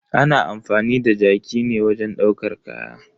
Ana amfani da jaki ne wajen ɗaukar kaya.